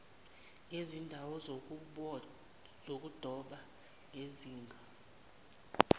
yezindawo zokudoba ngezinga